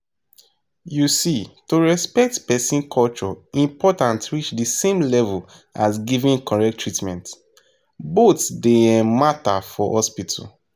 you see to respect person culture important reach the same level as giving correct treatment. both dey um matter for hospital.